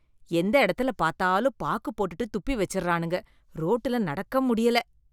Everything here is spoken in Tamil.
எந்த எடத்துல பாத்தாலும் பாக்குப் போட்டுட்டு துப்பி வெச்சறானுங்க, ரோட்டுல நடக்க முடியல.